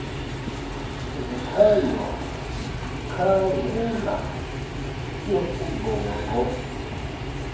ebethandwa khangela urnbongo